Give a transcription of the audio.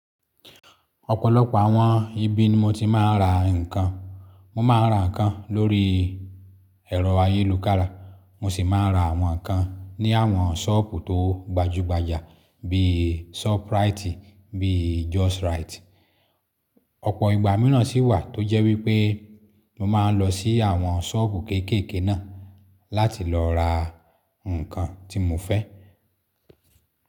Ọ̀pọ̀lọpọ̀ àwọn ibi ni mo ti máa ń ra ǹkan. Mo máa ń ra ǹkan lórí ẹ̀rọ ayélujára, mo sì máa ń ra àwọn ǹkan ní àwọn sọ́ọ̀bù tó gbajúgbajà bí i Shoprite bí i Justrite. Ọ̀pọ̀ ìgbà míràn sì wà tó jẹ́ wípé mo máa ń lọ sí àwọn sọ́ọ̀bù kéékèèké náà láti lọ ra ǹkan tí mo fẹ́.